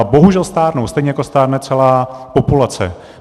A bohužel stárnou, stejně jako stárne celá populace.